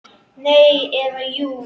Nei. eða jú!